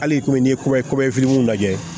Hali i komi n ye kuma fitininw lajɛ